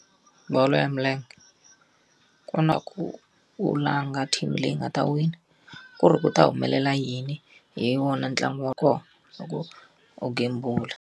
Bolo ya milenge. Ku na ku u langa team leyi nga ta wina, ku ri ku ta humelela yini hi wona ntlangu wa kona u gembula.